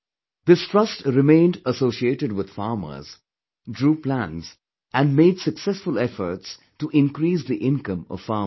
This trust remained associated with farmers, drew plans and made successful efforts to increase the income of farmers